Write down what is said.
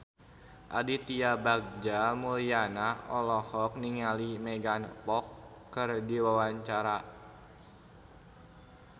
Aditya Bagja Mulyana olohok ningali Megan Fox keur diwawancara